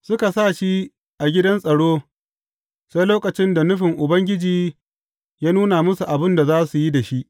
Suka sa shi a gidan tsaro sai lokacin da nufin Ubangiji ya nuna musu abin da za su yi da shi.